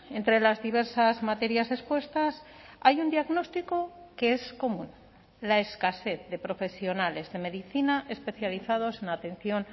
entre las diversas materias expuestas hay un diagnóstico que es común la escasez de profesionales de medicina especializados en atención